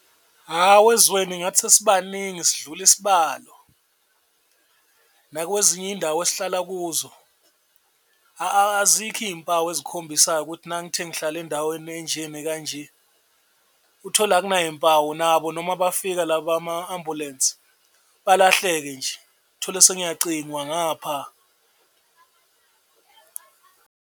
Hawu ezweni ngathi sesibaningi sidlula isibalo nakwezinye indawo esihlala kuzo azikho iy'mpawu ezikhombisayo ukuthi nangithi ngihlala endaweni enje nekanje uthole akunayimpawu nabo noma bafika laba bama-ambulensi balahleke nje, uthole sengiyacingwa ngapha.